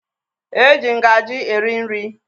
E ji ngaji eri nri